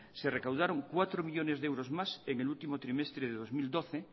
se recaudaron cuatro millónes de euros más en el último trimestre de dos mil doce